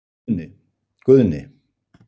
Guðni